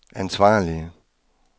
ansvarlige